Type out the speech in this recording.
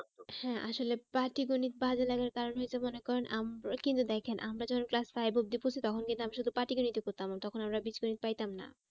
হ্যাঁ আসলে পাটিগণিত বাজে লাগার কারণ হচ্ছে মনে করেন কিন্তু দেখেন আমরা যখন class five অবধি পড়ছি তখন কিন্তু আমি শুধু পাটিগণিতই পড়তাম তখন আমরা বীজগণিত পাইতাম না